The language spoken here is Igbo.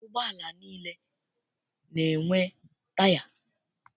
Ụgbọala niile na-enwe taya.